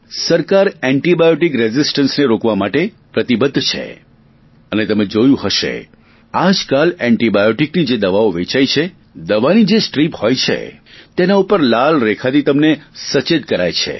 સરકાર એન્ટિબાયોટિક રેઞિસ્ટન્સને રોકવા માટે પ્રતિબધ્ધ છે અને તમે જોયું હશે આજકાલ એન્ટિબાયોટિકની જે દવા વેચાઇ છે તેની જે સ્ટ્રીપ હોય છે તેના ઉપર લાલ રેખાથી તમને સચેત કરાય છે